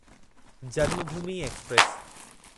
Janmabhoomi express